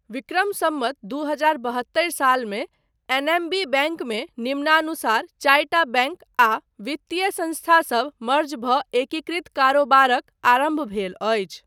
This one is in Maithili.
विक्रम सम्वत दू हजार बहत्तरि सालमे एनएमबी बैङ्कमे निम्नाुसारक चारिटा बैङ्क आ वित्तिय संस्थासब मर्ज भऽ एकिकृत कारोबारक आरम्भ भेल अछि।